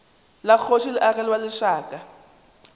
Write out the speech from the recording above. la kgoši le agelwa lešaka